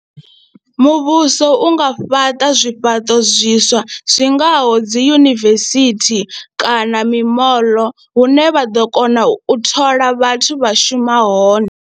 Muvhuso u nga fhaṱa zwifhaṱo zwiswa zwi ngaho dzi yunivesithi kana mimoḽo hune vha ḓo kona u thola vhathu vha shuma hone.